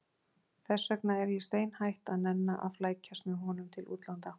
Þess vegna er ég steinhætt að nenna að flækjast með honum til útlanda.